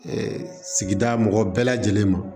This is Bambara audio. sigida mɔgɔw bɛɛ lajɛlen ma